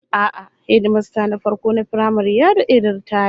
A'a, hedimasta na farko na firamare ya dade da ritaya